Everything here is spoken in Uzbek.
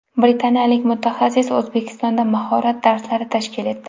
Britaniyalik mutaxassis O‘zbekistonda mahorat darslari tashkil etdi.